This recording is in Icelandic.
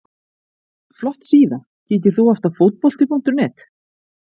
Flott síða Kíkir þú oft á Fótbolti.net?